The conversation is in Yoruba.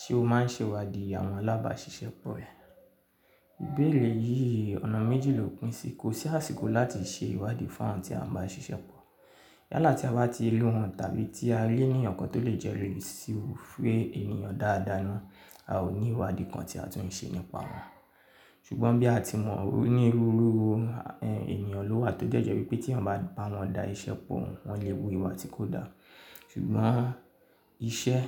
Ṣé o máa ń ṣe ìwádìí àwọn alábàáṣiṣẹ́ pọ̀ rẹ? Ìbéèrè yìí ọ̀nà méjì lò pín sí i. Kò sí àsìkò láti ṣe ìwádìí fún àwọn tí a ń bá ṣiṣẹ́ pọ̀ yálà tí a bá ti le wọ́n tàbí tí a rí ènìyàn kan tó lè jẹ́ lórí sí i fún èèyàn dáadáa ni a ò ní ìwádìí kan tí a tún ń ṣe nípa wọn. Ṣùgbọ́n bí a ti mọ̀ ọ́n ní rúru ẹni èèyàn ló wà tó jẹ́ jẹ́ wípé tí wọ́n bá bá wọn da iṣẹ́ pọ̀ wọ́n lè bu ìwà tí kò dáa. Ṣùgbọ́n iṣẹ́